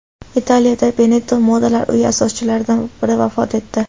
Italiyada Benetton modalar uyi asoschilaridan biri vafot etdi.